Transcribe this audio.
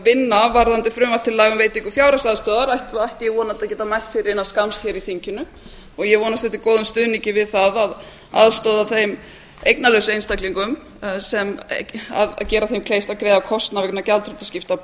vinna varðandi frumvörp til laga um veitingu fjárhagsaðstoðar ætti vonandi að geta mælt fyrir innan skamms hér í þinginu og ég vonast eftir góðum stuðningi við það að aðstoða þá eignalausum einstaklinga og gera þeim kleift að greiða kostnað vegna gjaldtökuskipta af